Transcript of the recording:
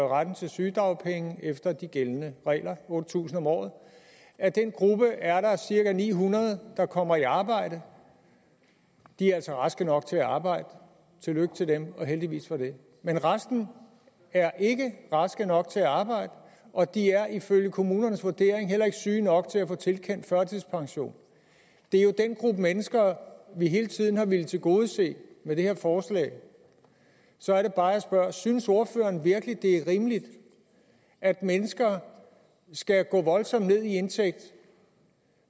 retten til sygedagpenge efter de gældende regler otte tusind om året af den gruppe er der cirka ni hundrede der kommer i arbejde de er altså raske nok til at arbejde tillykke til dem og heldigvis for det men resten er ikke raske nok til at arbejde og de er ifølge kommunernes vurdering heller ikke syge nok til at få tilkendt førtidspension det er jo den gruppe mennesker vi hele tiden har villet tilgodese med det her forslag så er det bare jeg spørger synes ordføreren virkelig at det er rimeligt at mennesker skal gå voldsomt ned i indtægt